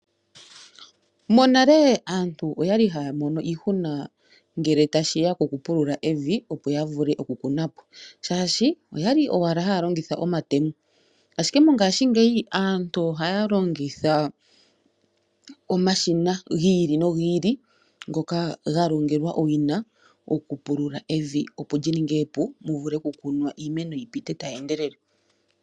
Monale aantu oya li haya mono iihuna ngele tashi ya kokupulula evi opo ya vule okukuna po, oshoka oya li owala haya longitha omatemo, ashike mongaashingeyi aantu ohaya longitha omashina gi ili nogi ili ngoka ga ningilwa owina okupulula evi, opo li ninge epu mu vule okukunwa iimeno yi pite tayi endelele.